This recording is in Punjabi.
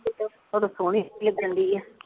ਪਰ ਸੋਹਣੀ ਕਹਿੰਦੀ ਆ